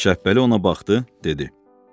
Şəbpəli ona baxdı, dedi.